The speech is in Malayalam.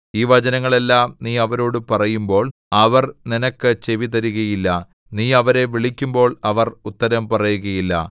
ഈ വചനങ്ങൾ എല്ലാം നീ അവരോടു പറയുമ്പോൾ അവർ നിനക്ക് ചെവി തരുകയില്ല നീ അവരെ വിളിക്കുമ്പോൾ അവർ ഉത്തരം പറയുകയില്ല